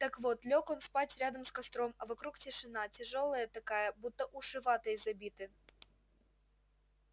так вот лёг он спать рядом с костром а вокруг тишина тяжёлая такая будто уши ватой забиты